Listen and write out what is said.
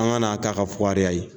An ka n'an ta ka fukariya ye.